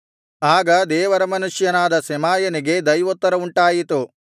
ಆಗ ದೇವರ ಮನುಷ್ಯನಾದ ಶೆಮಾಯನಿಗೆ ದೈವೋತ್ತರವುಂಟಾಯಿತು